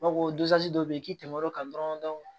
B'a fɔ ko dɔ bɛ yen k'i tɛmɛn'o kan dɔrɔn